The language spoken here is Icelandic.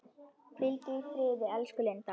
Hvíldu í friði elsku Linda.